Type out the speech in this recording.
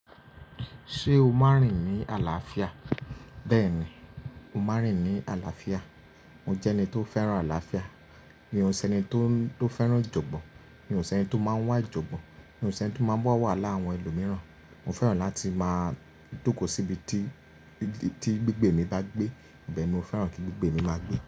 Ṣé o máa rìn ní àlàáfíà? Bẹ́ẹ̀ni, mo máa rìn ní àlàáfíà. Mo jẹ́ ẹni tó fẹ́ràn àlàáfíà. Mi ò ṣe ẹni tó, tó fẹ́ràn ìjọ̀gbọ́n. Mi ò ṣe ẹni tó máa ń wá ìjọ̀gbọ́n. Mi ò ṣe ẹni tó máa ń bọ̀ wáhala àwọn ẹlòmíràn. Mo fẹ́ràn láti máa jókòó síbi tí, tí gbígbé mi bá gbé. Bẹ́ẹ̀ ni mo fẹ́ràn kí gbígbé mi máa gbé.